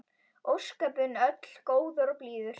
Ósköpin öll góður og blíður.